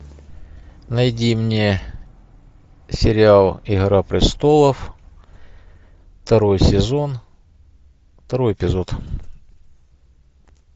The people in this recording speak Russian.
найди мне сериал игра престолов второй сезон второй эпизод